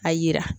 A yira